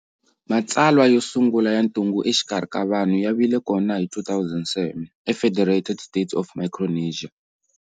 Matsalwa yo sungula ya ntungu exikarhi ka vanhu ya vile kona hi 2007 e Federated States of Micronesia.